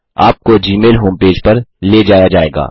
आपको Gmail home page पर ले जाया जाएगा